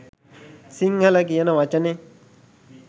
"සිංහල" කියන වචනෙ